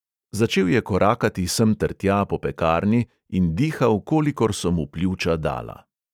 Začel je korakati semtertja po pekarni in dihal, kolikor so mu pljuča dala.